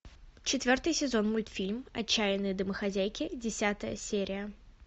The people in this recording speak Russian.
четвертый сезон мультфильм отчаянные домохозяйки десятая серия